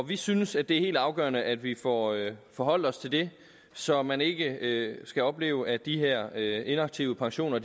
vi synes at det er helt afgørende at vi får forholdt os til det så man ikke skal opleve at de her inaktive pensioner